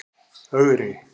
Ögri